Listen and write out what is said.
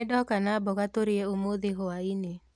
Nĩndoka na mboga tũrĩe ũmũthĩ hwaĩ-inĩ